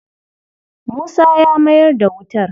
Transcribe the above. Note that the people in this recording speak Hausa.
Musa ya mayar da wutar.